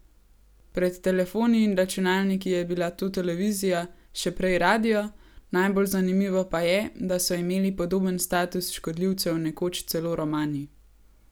Pred telefoni in računalniki je bila to televizija, še prej radio, najbolj zanimivo pa je, da so imeli podoben status škodljivcev nekoč celo romani.